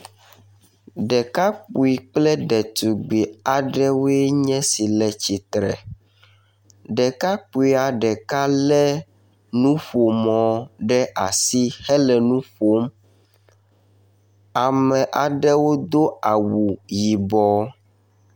Ɖekakpui kple ɖetugbi aɖewoe nye esi le tsitre. Ɖekakpuia ɖeka le nuƒomɔ ɖe asi hele nu ƒom. Ame aɖewo do awu yibɔ.